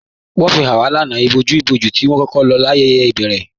Wọn fi háń wà íbòjú-bòjú tí wọn lọ lákọkọ ayéyé ibèrè.